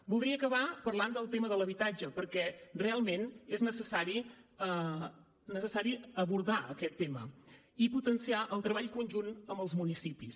voldria acabar parlant del tema de l’habitatge perquè realment és necessari abordar aquest tema i potenciar el treball conjunt amb els municipis